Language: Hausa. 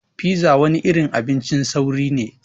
Pizza wani irin abincin sauri ne.